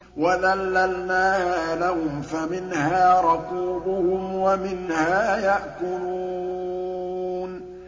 وَذَلَّلْنَاهَا لَهُمْ فَمِنْهَا رَكُوبُهُمْ وَمِنْهَا يَأْكُلُونَ